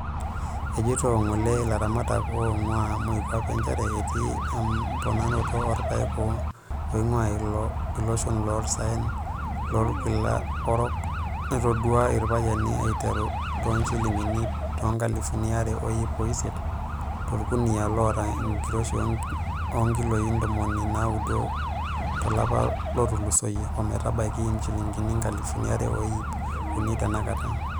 ejeito ng'ole laramataka oingua moikuape njere etii emponaroto olpaek oingua iloshon oloosaen lolkila orok naitaduo iropiyiani aiteru tooshilingini toonkalifuni are o iip osiet tolkunia loota enkiroshi ookiloi ndomoni naaudo to lapa lotulusoyia ometabaiki injilingine inkalifuni are o iip unii tenakata.